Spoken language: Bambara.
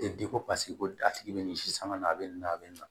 E de ko paseke ko a tigi bɛ nin si sanga na a bɛ nin a bɛ nin na